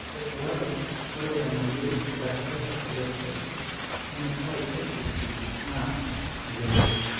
Ore telalai, ore enayau Intrahepatic cholestasis enutai (ICP) naa meyioloi.